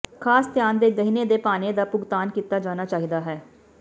ਖਾਸ ਧਿਆਨ ਦੇ ਗਹਿਣੇ ਦੇ ਭਾਣੇ ਦਾ ਭੁਗਤਾਨ ਕੀਤਾ ਜਾਣਾ ਚਾਹੀਦਾ ਹੈ